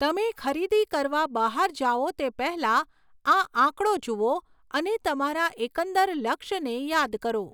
તમે ખરીદી કરવા બહાર જાઓ તે પહેલાં, આ આંકડો જુઓ અને તમારા એકંદર લક્ષ્યને યાદ કરો.